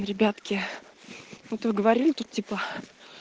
ребятки вот вы говорили тут типа